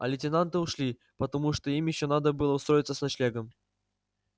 а лейтенанты ушли потому что им ещё надо было устроиться с ночлегом